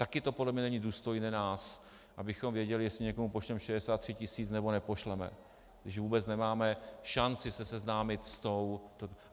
Také to podle mě není důstojné nás, abychom věděli, jestli někomu pošleme 63 tisíc, nebo nepošleme, když vůbec nemáme šanci se seznámit s tou...